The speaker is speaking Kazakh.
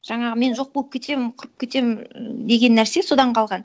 жаңағы мен жоқ болып кетемін құрып кетемін деген нәрсе содан қалған